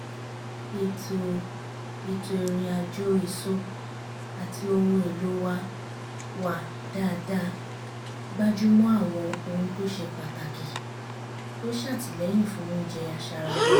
ètò ètò ìrìn àjò èso àti ohun èlò wa wà dáadáa gbájúmọ́ àwọn ohuntó ṣe pàtàkì tó ṣàtìlẹ́yìn fún oúnjẹ aṣaralóore